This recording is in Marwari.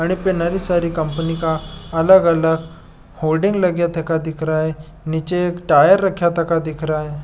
आने पे बहुत सारी कंपनी का अलग अलग फोल्डिंग लगा थका दिख रहा है निचे एक टायर दिख रहा है।